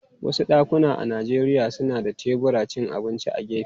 Wasu dakuna a Najeriya suna da teburin cin abinci a gefe.